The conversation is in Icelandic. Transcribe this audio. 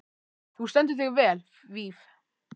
Þú stendur þig vel, Víf!